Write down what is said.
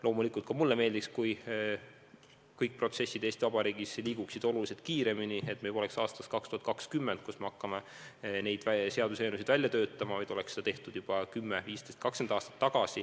Loomulikult ka mulle meeldiks, kui kõik protsessid Eesti Vabariigis liiguksid oluliselt kiiremini, et me poleks sunnitud aastal 2020 neid seaduseelnõusid välja töötama, vaid seda oleks tehtud juba 10, 15, 20 aastat tagasi.